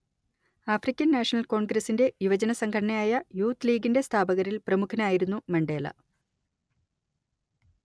African national കോൺഗ്രസ്സിന്റെ യുവജനസംഘടനയായ youth ലീഗിന്റെ സ്ഥാപകരിൽ പ്രമുഖനായിരുന്നു മണ്ടേല